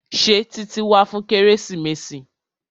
Ṣé Títí wá fún kérésìmesì?